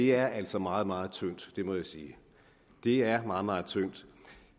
er altså meget meget tyndt det må jeg sige det er meget meget tyndt